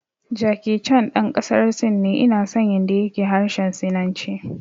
Jackie Chan ɗan ƙasar Sin ne, ina son yanda ya ke harshen sinanci